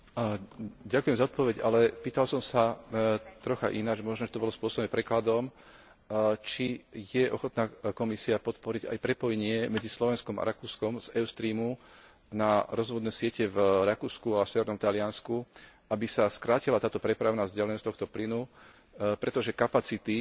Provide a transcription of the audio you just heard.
Pýtal som sa trocha ináč, možno to bolo spôsobené aj prekladom Či je ochotná Komisia podporiť aj prepojenie medzi Slovenskom a Rakúskom z Eustreamu na rozvodné siete v Rakúsku a severnom Taliansku, aby sa skrátila táto prepravná vzdialenosť tohto plynu, pretože kapacity Eustreamu v súčasnosti